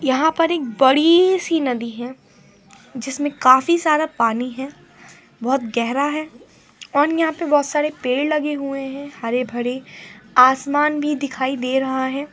यहां पर एक बड़ी सी नदी है जिसमें काफी सारा पानी है बहुत गहरा है और यहां पर बहुत सारे पेड़ लगे हुए हैं हरे भरेआसमान भी दिखाई दे रहा है।